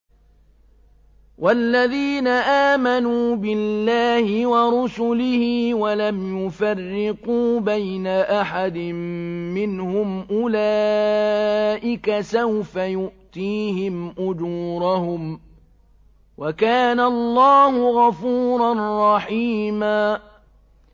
وَالَّذِينَ آمَنُوا بِاللَّهِ وَرُسُلِهِ وَلَمْ يُفَرِّقُوا بَيْنَ أَحَدٍ مِّنْهُمْ أُولَٰئِكَ سَوْفَ يُؤْتِيهِمْ أُجُورَهُمْ ۗ وَكَانَ اللَّهُ غَفُورًا رَّحِيمًا